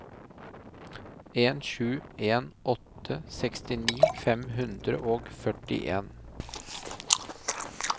en sju en åtte sekstini fem hundre og førtien